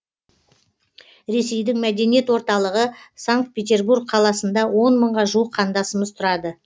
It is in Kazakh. ресейдің мәдени орталығы санкт петербург қаласында он мыңға жуық қандасымыз тұрады